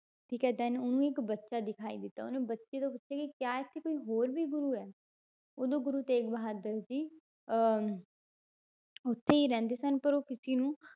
ਠੀਕ ਹੈ then ਉਹਨੂੰ ਇੱਕ ਬੱਚਾ ਦਿਖਾਈ ਦਿੱਤਾ, ਉਹਨੇ ਬੱਚੇ ਤੋਂ ਪੁੱਛਿਆ ਕਿ ਕਿਆ ਇੱਥੇ ਕੋਈ ਹੋਰ ਵੀ ਗੁਰੂ ਹੈ ਉਦੋਂ ਗੁਰੂ ਤੇਗ ਬਹਾਦਰ ਜੀ ਅਹ ਉੱਥੇ ਹੀ ਰਹਿੰਦੇ ਸਨ ਪਰ ਉਹ ਕਿਸੇ ਨੂੰ